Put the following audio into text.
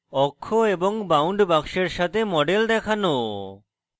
অক্ষ এবং bound box সাথে model দেখানো